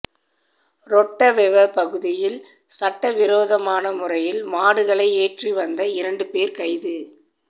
ரொட்டவெவ பகுதியில் சட்ட விரோதமான முறையில் மாடுகளை ஏற்றி வந்த இரண்டு பேர் கைது